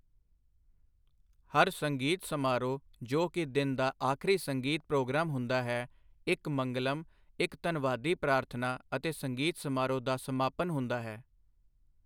ਹਰ ਸੰਗੀਤ ਸਮਾਰੋਹ ਜੋ ਕਿ ਦਿਨ ਦਾ ਆਖਰੀ ਸੰਗੀਤ ਪ੍ਰੋਗਰਾਮ ਹੁੰਦਾ ਹੈ, ਇੱਕ ਮੰਗਲਮ, ਇੱਕ ਧੰਨਵਾਦੀ ਪ੍ਰਾਰਥਨਾ ਅਤੇ ਸੰਗੀਤ ਸਮਾਰੋਹ ਦਾ ਸਮਾਪਤ ਹੁੰਦਾ ਹੈ।